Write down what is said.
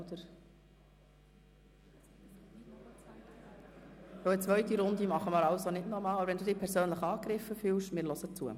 Eine zweite Runde machen wir also nicht, aber wenn Sie sich persönlich angegriffen fühlen, hören wir zu.